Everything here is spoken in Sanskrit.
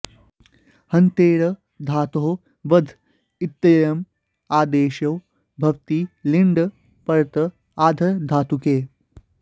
हन्तेर् धातोः वध इत्ययम् आदेशो भवति लिङि परत आर्धधातुके